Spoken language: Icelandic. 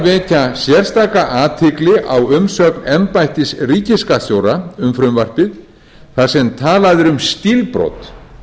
að vekja sérstaka athygli á umsögn embættis ríkisskattstjóra um frumvarpið þar sem talað er um stílbrot